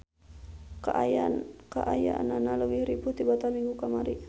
Kaayananan leuwih ripuh tibatan minggu kamari.